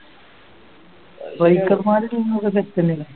striker മാര് കൂടുതലും